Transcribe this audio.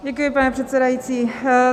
Děkuji, pane předsedající.